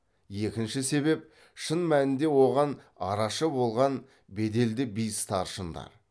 екінші себеп шын мәнінде оған арашы болған беделді би старшындар